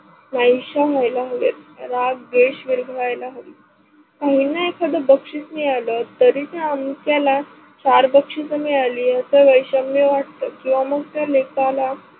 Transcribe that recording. नाहीशा व्हाईल्यात हव्या, राग, देश्व व्हाईला हवी. काहीना एखाद बशीस मिळाल तरी ते अमक्याला चार बक्षिसे मिळाली याच वैषम्य वाटत किवा मग त्या लेखाला.